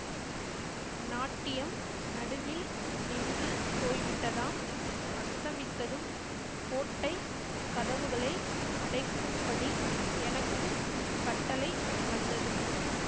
நாட்டியம் நடுவில் நின்று போய்விட்டதாம் அஸ்தமித்ததும் கோட்டை கதவுகளை அடைக்கும்படி எனக்கு கட்டளை வந்தது